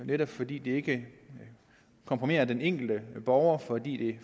netop fordi det ikke kompromitterer den enkelte borger fordi